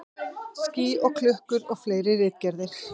Ský og klukkur og fleiri ritgerðir.